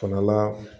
Fana la